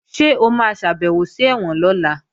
Ṣé o máa ṣàbèwò sí ẹ̀wọ̀n lọ́la?